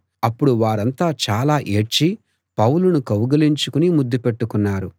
అప్పుడు వారంతా చాలా ఏడ్చి పౌలును కౌగలించుకుని ముద్దుపెట్టుకున్నారు